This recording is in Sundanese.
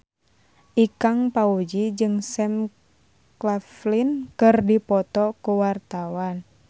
Ikang Fawzi jeung Sam Claflin keur dipoto ku wartawan